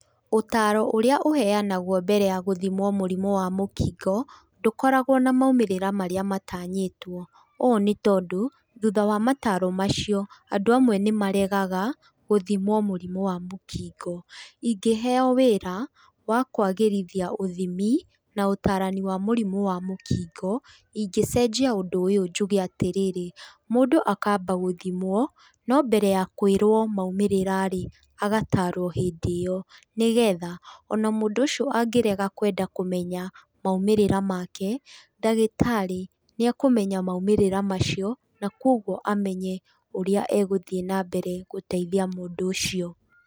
Ũtaro ũrĩa ũheanagwo mbere ya gũthimwo mũrimũ wa mũkingo ndũkoragwo na maumĩrĩra marĩa matanyĩtwo, ũũ nĩ tondũ thutha mataro macio andũ amwe nĩ maregaga gũthimwo mũrimũ wa mũkingo. Ingĩheo wĩra wa kũagĩrithia ũthimi na ũtarani wa mũrimũ wa mũkingo, ingĩcenjia ũndũ ũyũ njuge atĩrĩrĩ, mũndũ akamba gũthimwo, no mbere ya kwĩrwo maumĩrĩra-rĩ, agatarwo hĩndĩ ĩo nĩ getha ona mũndũ ũcio angĩenda kũrega kũmenya maumĩrĩra make-rĩ ndagĩtarĩ nĩekũmenya maumĩrĩra macio nakũoguo amenye ũrĩa egĩthiĩ na mbere gũteithia mũndũ ũcio.